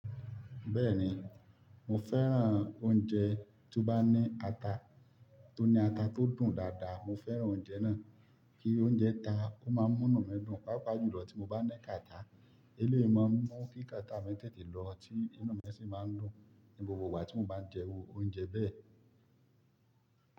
Bẹ́ẹ̀ni, mo fẹ́ràn oúnjẹ tó bá ní ata, tó ní ata tó dùn dáadáa. Mo fẹ́ràn oúnjẹ náà. Kí oúnjẹ ta, ó máa n múnú mii dùn. Páapá jùlọ tí mo bá ni kàtà. Eléyìí máa n mú kí kàtà mi tètè lọ tí inú mi sì má a ń dùn ní gbogbo ìgbà tí mo bá ń jẹ oúnjẹ bẹ́ẹ̀.